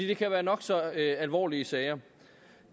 det kan være nok så alvorlige sager